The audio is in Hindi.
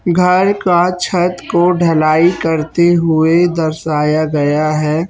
घर का छत को ढलाई करते हुवे दर्शाया गया हैं।